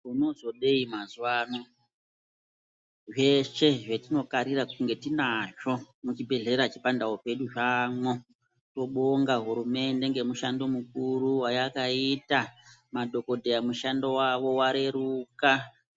Tino zodei mazuva ano zveshe zvetino karira kunge tinazvo mu chibhedhlera che pandau pedu zvamwo tobonga hurumende ne mushando mukuru wa yakaita madhokodheya mushando wawo wareruka